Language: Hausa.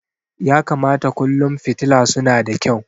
Ya kamata kullum fitila suna da kyau.